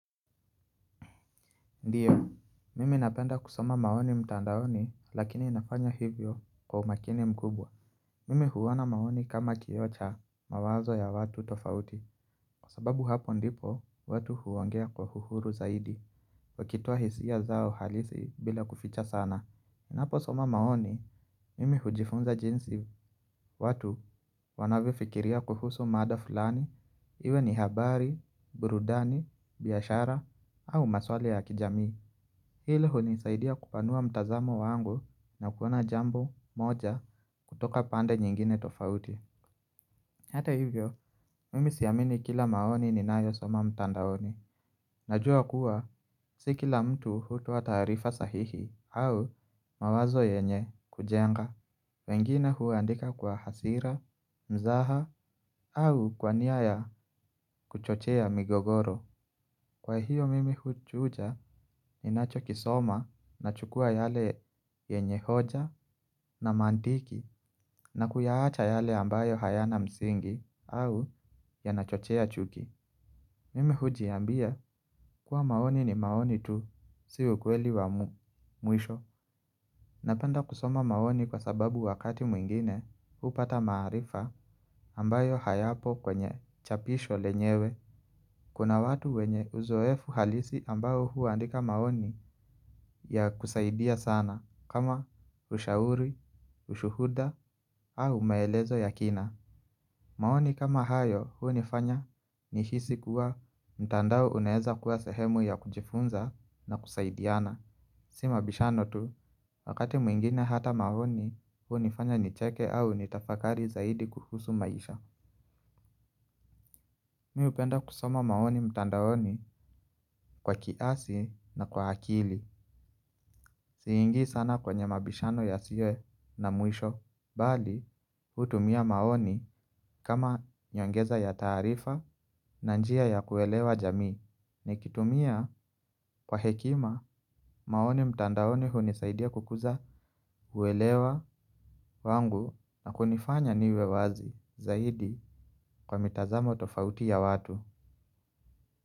Ndiyo, mimi napenda kusoma maoni mtandaoni, lakini nafanya hivyo kwa umakini mkubwa. Mimi huona maoni kama kioo cha mawazo ya watu tofauti. Kwa sababu hapo ndipo watu huwangea kwa uhuru zaidi. Wakitoa hisia zao halisi bila kuficha sana. Ninaposoma maoni, mimi hujifunza jinsi watu wanavyofikiria kuhusu mada fulani. Iwe ni habari, burudani, biashara au maswala ya kijamii. Hilo hunisaidia kupanua mtazamo wangu na kuona jambo moja kutoka pande nyingine tofauti. Hata hivyo, mimi siamini kila maoni ni nayo soma mtandaoni. Najua kuwa, si kila mtu hutoa taarifa sahihi au mawazo yenye kujenga. Wengine huandika kwa hasira, mzaha au kwania ya kuchochea migogoro. Kwa hiyo mimi huchuja, ninachokisoma nachukua yale yenye hoja na mantiki, na kuyaacha yale ambayo hayana msingi au yanachochoa chuki. Mimi hujiambia kuwa, maoni ni maoni tu, si ukweli wa mwisho. Napenda kusoma maoni kwa sababu wakati mwingine hupata maarifa ambayo hayapo kwenye chapisho lenyewe. Kuna watu wenye uzoefu halisi ambao huandika maoni ya kusaidia sana. Kama ushauri, ushuhuda au maelezo ya kina. Maoni kama hayo hunifanya nihisi kuwa mtandao unaweza kuwa sahemu ya kujifunza na kusaidiana. Si mabishano tu, wakati mwingine hata maoni hunifanya nicheke au nitafakari zaidi kuhusu maisha. Mi hupenda kusoma maoni mtandaoni kwa kiasi na kwa akili. Siingii sana kwenye mabishano yasiyo na mwisho. Bali hutumia maoni kama nyongeza ya taarifa na njia ya kuelewa jamii. Nikitumia kwa hekima maoni mtandaoni hunisaidia kukuza uelewa wangu na kunifanya niwe wazi zaidi kwa mitazamo tofauti ya watu.